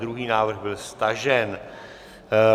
Druhý návrh byl stažen.